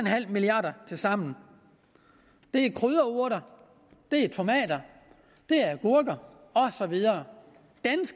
milliard kroner tilsammen det er krydderurter det er tomater det er agurker og så videre